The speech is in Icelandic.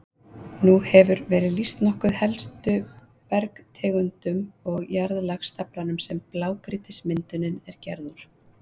Nú hefur verið lýst nokkuð helstu bergtegundum og jarðlagastaflanum sem blágrýtismyndunin er gerð úr.